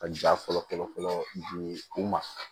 Ka ja fɔlɔ fɔlɔ di u ma